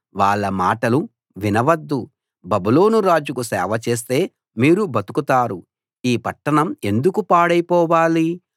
వాళ్ళ మాటలు వినవద్దు బబులోను రాజుకు సేవ చేస్తే మీరు బతుకుతారు ఈ పట్టణం ఎందుకు పాడైపోవాలి